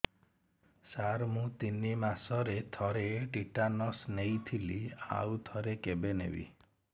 ସାର ମୁଁ ତିନି ମାସରେ ଥରେ ଟିଟାନସ ନେଇଥିଲି ଆଉ ଥରେ କେବେ ନେବି